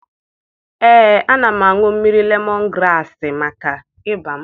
Ee, ana m aṅụ mmiri lemọn graasị maka ịba m.